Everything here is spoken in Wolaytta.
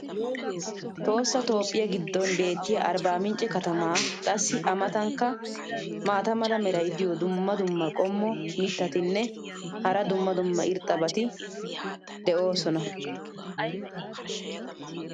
Tohossa toophphiya giddon beetiya arbaamincce katamaa. qassi a matankka maata mala meray diyo dumma dumma qommo mitattinne hara dumma dumma irxxabati de'oosona.